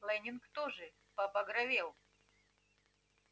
лэннинг тоже побагровел